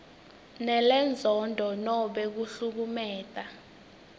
lenenzondo nobe kuhlukumeta